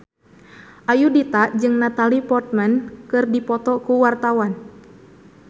Ayudhita jeung Natalie Portman keur dipoto ku wartawan